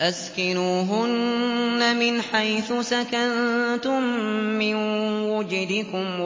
أَسْكِنُوهُنَّ مِنْ حَيْثُ سَكَنتُم مِّن وُجْدِكُمْ